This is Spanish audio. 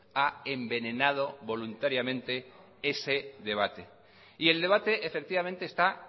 ha envenenado voluntariamente ese debate y el debate efectivamente está